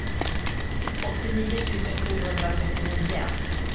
åttionio tusen sjuhundratrettionio